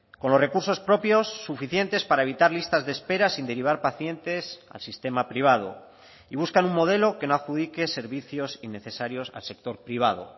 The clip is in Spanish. con los recursos propios suficientes para evitar listas de espera sin derivar pacientes al sistema privado y buscan un modelo que no adjudique servicios innecesarios al sector privado